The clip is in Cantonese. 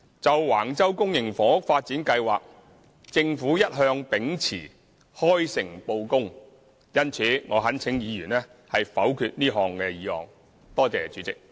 就橫洲公營房屋發展計劃，政府一向秉持開誠布公，因此，我懇請議員否決這項議案。